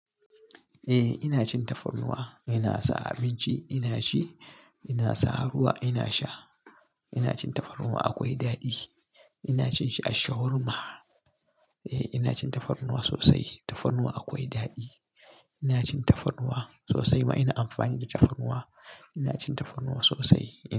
Eh ina cin tafarnuwa, ina sa abinci ina ci, ina sa ruwa ina sha. Ina cin tafarnuwa akwai daɗi. Ina cin shi a shawarma. Eh ina cin tafarnuwa sosai. Tafarnuwa akwai daɗi. Ina cin tafarnuwa sosai ma ina amfani da tafarnuwa. Ina cin tafarnuwa sosai ina.